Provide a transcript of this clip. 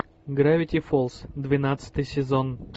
гравити фолз двенадцатый сезон